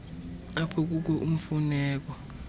apho kukho imfuneko